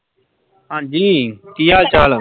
ਹਾਂਜੀ ਕੀ ਹਾਲ ਚਾਲ